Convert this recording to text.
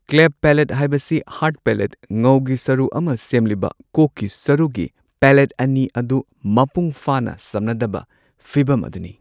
ꯀ꯭ꯂꯦꯐ palate ꯍꯥꯏꯕꯁꯤ hard palate ꯉꯧꯒꯤ ꯁꯔꯨꯛ ꯑꯃ ꯁꯦꯝꯂꯤꯕ ꯀꯣꯛꯀꯤ ꯁꯔꯨꯒꯤ ꯄꯦꯂꯦꯠ ꯑꯅꯤ ꯑꯗꯨ ꯃꯄꯨꯡ ꯐꯥꯅ ꯁꯝꯅꯗꯕ ꯐꯤꯕꯝ ꯑꯗꯨꯅꯤ꯫